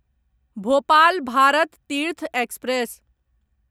Bhopal Bharat Tirth express